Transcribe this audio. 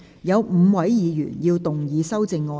有5位議員要動議修正案。